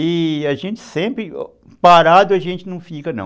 E a gente sempre, parado a gente não fica, não.